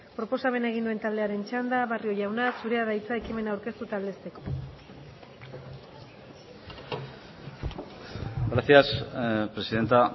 proposamena egin duen taldearen txanda barrio jauna zurea da hitza ekimena aurkeztu eta aldezteko gracias presidenta